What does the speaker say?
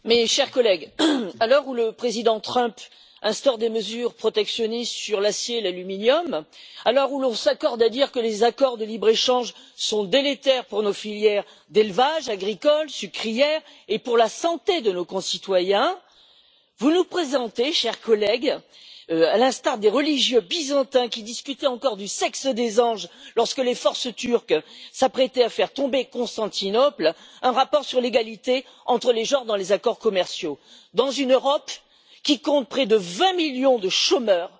chers collègues, à l'heure où le président Trump instaure des mesures protectionnistes sur l'acier et l'aluminium, à l'heure où l'on s'accorde à dire que les accords de libre échange sont délétères pour nos filières d'élevages, agricoles, sucrières et pour la santé de nos concitoyens, vous nous présentez, chers collègues, à l'instar des religieux byzantins qui discutaient encore du sexe des anges lorsque les forces turques s'apprêtaient à faire tomber Constantinople, un rapport sur l'égalité entre les genres dans les accords commerciaux, dans une Europe qui compte près de vingt millions de chômeurs,